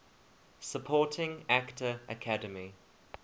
supporting actor academy